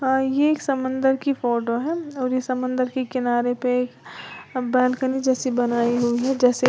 अ ये एक समंदर की फोटो है और ये समंदर की किनारे पे बालकनी जैसी बनाई हुई है जैसे --